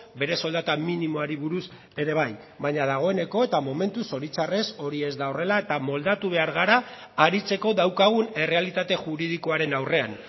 bere soldata minimoari buruz ere bai baina dagoeneko eta momentuz zoritxarrez hori ez da horrela eta moldatu behar gara aritzeko daukagun errealitate juridikoaren aurrean